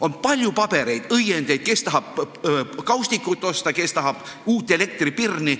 On palju pabereid, õiendeid – kes tahab kaustikut osta, kes tahab uut elektripirni.